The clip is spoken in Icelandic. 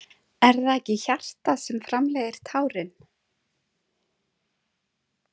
Er það ekki hjartað sem framleiðir tárin?